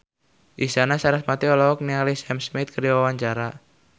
Isyana Sarasvati olohok ningali Sam Smith keur diwawancara